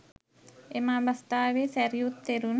එම අවස්ථාවේ සැරියුත් තෙරුන්